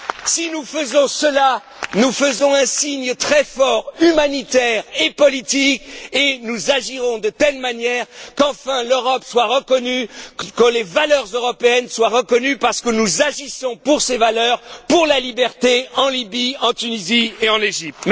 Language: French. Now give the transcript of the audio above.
Si nous faisons cela, nous ferons un signe très fort humanitaire et politique, et agirons de telle manière qu'enfin l'Europe soit reconnue, que les valeurs européennes soient reconnues parce que nous agissons pour ces valeurs, pour la liberté en Libye, en Tunisie et en Égypte.